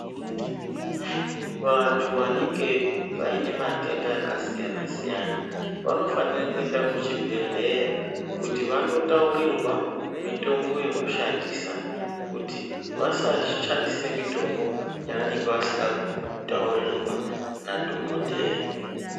Vantu vanenge vaine matenda akasiyana-siyana, vanofanire kuende kuchibhedhleya kuti vandotaurirwa mitombo yekushandisa. Kuti vasashandise mitombo yavanenge vasina kutaurirwa nadhogodheya.